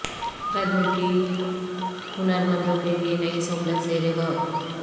غیر ملکی ہنر مندوں کیلئے نئی سہولت زیر غور